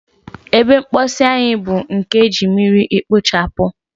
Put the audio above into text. Ebe mposi anyi bu nkem eji mmiri ekpochabu.